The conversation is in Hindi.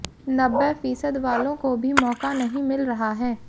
नब्बे फीसद वालों को भी मौका नहीं मिल रहा है